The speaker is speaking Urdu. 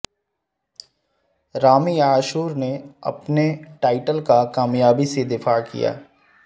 رامی عاشور نے اپنے ٹائٹل کا کامیابی سے دفاع کیا